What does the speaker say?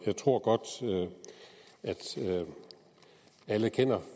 jeg tror godt at alle kender